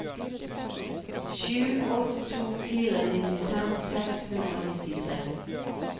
sju åtte to fire nittifem seks hundre og nittitre